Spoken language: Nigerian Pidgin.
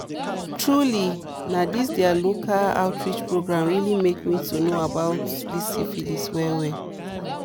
truely na this their local outreach program really make me to know about syphilis well well